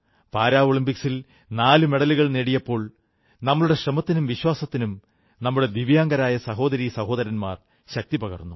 പാരാളിമ്പിക്സിൽ നാലു മെഡലുകൾ നേടിയപ്പോൾ നമ്മുടെ ശ്രമത്തിനും വിശ്വാസത്തിനും നമ്മുടെ ദിവ്യാംഗരായ സഹോദരീസഹോദരന്മാർ ശക്തിപകർന്നു